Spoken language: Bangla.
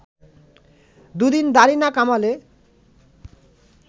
দুদিন দাড়ি না কামালে